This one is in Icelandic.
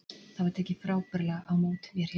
Það var tekið frábærlega á mót mér hérna.